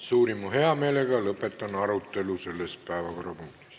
Suurima heameelega lõpetan arutelu selle päevakorrapunkti teemal.